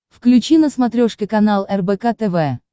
включи на смотрешке канал рбк тв